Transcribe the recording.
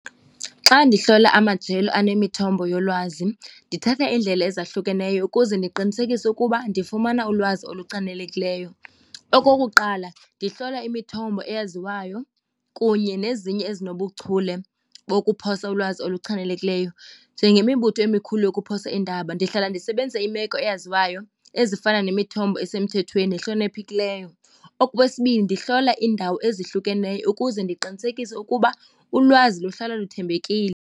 Xa ndihlola amajelo anemithombo yolwazi ndithatha iindlela ezahlukeneyo ukuze ndiqinisekise ukuba ndifumana ulwazi oluchanekileyo. Okokuqala ndihlola imithombo eyaziwayo kunye nezinye ezinobuchule wokuphosa ulwazi oluchanekileyo njengemibutho emikhulu yokuphosa iindaba. Ndihlala ndisebenzise imeko eyaziwayo ezifana nemithombo esemthethweni nehloniphekileyo. Okwesibini ndihlola iindawo ezihlukeneyo ukuze ndiqinisekise ukuba ulwazi luhlala luthembekile.